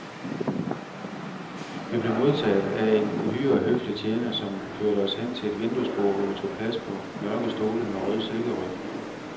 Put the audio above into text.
Vi blev modtaget af en uhyre høflig tjener, som førte os hen til et vinduesbord, hvor vi tog plads på mørke stole med rød silkeryg.